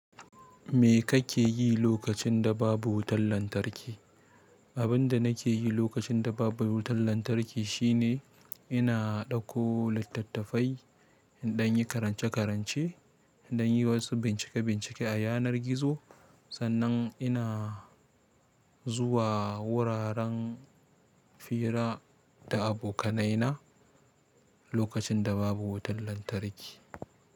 Me kake yi lokacin da babu wutar lantarki? Abin da nake yi lokacin da babu wutar lantarki shine ina ɗauko littattafai in ɗan yi karance-karance, in ɗan yi wasu bincike-bincike a yanar gizo. Sannan ina zuwa wuraren fira da abokanaina lokacin da babu wutar lantarki.